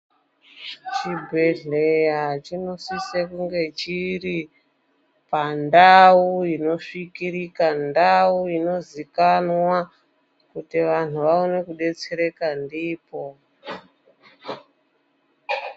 Chibhedhlera chinosise kunge chiri pandau inosvikirika, ndau inozikanwa kuti vantu vaone kudetsereka ndipo